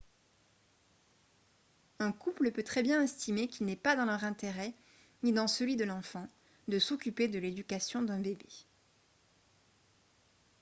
un couple peut très bien estimer qu'il n'est pas dans leur intérêt ni dans celui de l'enfant de s'occuper de l'éducation d'un bébé